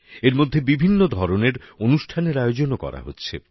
এরমধ্যে বিভিন্ন ধরনের অনুষ্ঠানের আয়োজনও করা হচ্ছে